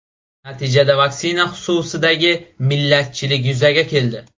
Natijada vaksina xususidagi millatchilik yuzaga keldi.